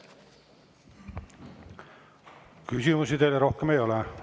Küsimusi teile rohkem ei ole.